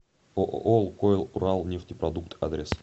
ооо лукойл уралнефтепродукт адрес